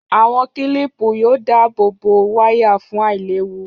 Àwọn kílìpù yóò dáàbò bo wáyà fún àìléwu